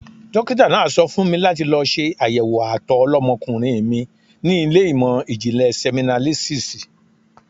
Dókítà náà sọ fún mi láti lọ ṣe àyẹ̀wò àtọ̀ ọlọ́mọkùnrin mi ní ilé ìmò ìjìnlè sẹmínálísísì.